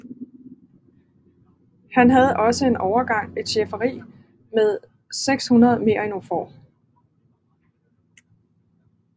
Han havde også en overgang et schæferi med 600 merinofår